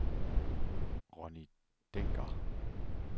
Ronnie Dencker